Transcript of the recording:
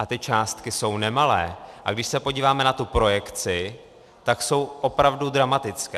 A ty částky jsou nemalé, a když se podíváme na tu projekci, tak jsou opravdu dramatické.